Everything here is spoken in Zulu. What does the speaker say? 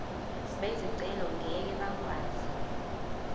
bezicelo ngeke bakwazi